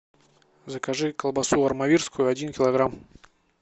закажи колбасу армавирскую один килограмм